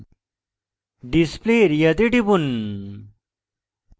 display area তে টিপুন